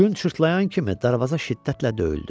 Gün çırtlaya kimi darvaza şiddətlə döyüldü.